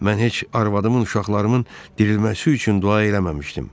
Mən heç arvadımın, uşaqlarımın dirilməsi üçün dua eləməmişdim.